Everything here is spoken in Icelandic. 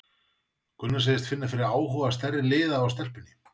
Gunnar segist finna fyrir áhuga stærri liða á stelpunni.